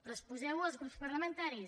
però exposeu ho als grups parlamentaris